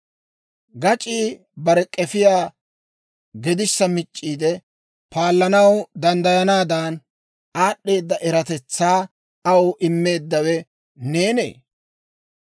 «Gac'ii bare k'efiyaa gedissa mic'c'iide paallanaw danddayanaadan, aad'd'eeda eratetsaa aw immeeddawe neenee?